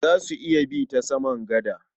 Za su iya bi ta saman gada.